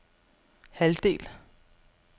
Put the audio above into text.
halvdel